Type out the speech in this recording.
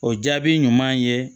O jaabi ɲuman ye